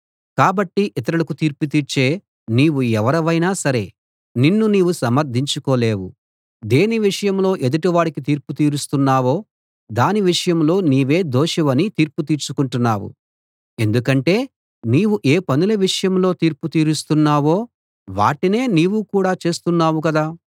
కాబట్టి ఇతరులకు తీర్పు తీర్చే నీవు ఎవరివైనా సరే నిన్ను నీవు సమర్ధించుకోలేవు దేని విషయంలో ఎదుటి వాడికి తీర్పు తీరుస్తున్నావో దాని విషయంలో నీవే దోషివని తీర్పు తీర్చుకుంటున్నావు ఎందుకంటే నీవు ఏ పనుల విషయంలో తీర్పు తీరుస్తున్నావో వాటినే నీవు కూడా చేస్తున్నావు కదా